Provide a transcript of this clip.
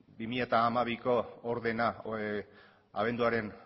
bi mila hamabiko ordena abenduaren